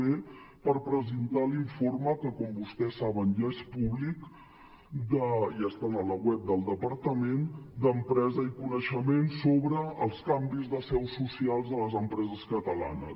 b per presentar l’informe que com vostès saben ja és públic ja està al web del departament d’empresa i coneixement sobre els canvis de seus socials de les empreses catalanes